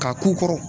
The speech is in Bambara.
K'a k'u kɔrɔ